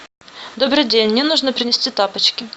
добрый день мне нужно принести тапочки